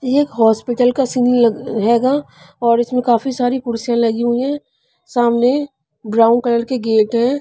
ये एक हॉस्पिटल का सीन हैगा और इसमें काफी सारी कुर्सियां लगी हुई है सामने ब्राउन कलर के गेट हैं.